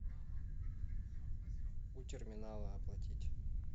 у терминала оплатить